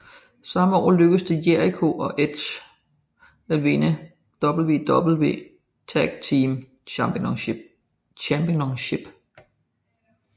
Samme aften lykkedes det Jericho og Edge at vinde WWE Tag Team Championship